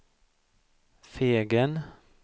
Fegen